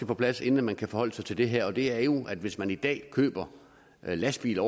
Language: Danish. på plads inden vi kan forholde sig til det her og det er jo at hvis man i dag køber lastbiler